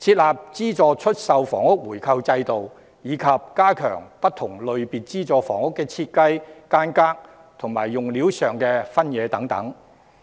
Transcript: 設立資助出售房屋回購制度，以及加強不同類別資助房屋的設計、間隔和用料的分野等。